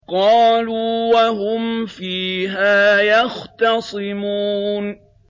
قَالُوا وَهُمْ فِيهَا يَخْتَصِمُونَ